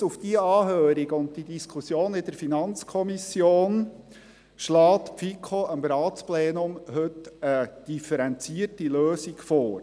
Gestützt auf diese Anhörung und die Diskussion in der FiKo schlägt diese dem Ratsplenum heute eine differenzierte Lösung vor.